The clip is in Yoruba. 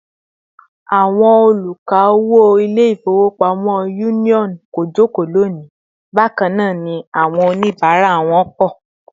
Àwọn oluka-owo Ilé-ifowopamo Union kò joko loni, bakana ni àwọn onibara wọn pọ̀